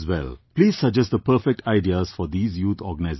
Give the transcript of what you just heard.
Please suggest the perfect ideas for these youth organizations